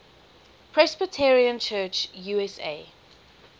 presbyterian church usa